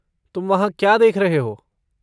तुम वहाँ क्या देख रहे हो?